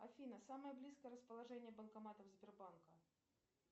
афина самое близкое расположение банкоматов сбербанка